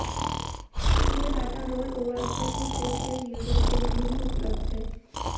यह data roll over offer सिर्फ postpaid users के लिए ही उपलब्ध है